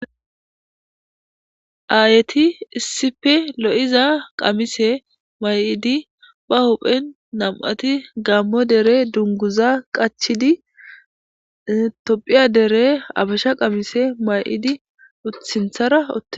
Aayeti issipe lo7iza qamise may7idi ba huphen nam7ati gammo dere dunguza qachidi tophiya dere abasha qamise may7idi uthinthara otte